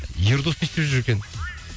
ердос не істеп жүр екен